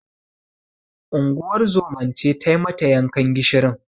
Unguwar zoman ce tai mata yankan gishirin.